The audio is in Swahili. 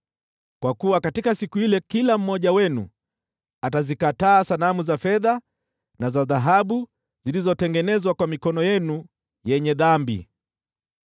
Kwa kuwa katika siku ile kila mmoja wenu atazikataa sanamu za fedha na za dhahabu zilizotengenezwa kwa mikono yenu yenye dhambi.